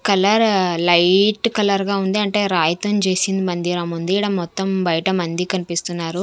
కలరా light colour గా ఉంది అంటే రాయితోన్ చేసిన మందిరం ఉంది ఈడ మొత్తం బయట మంది కనిపిస్తూ ఉన్నారు.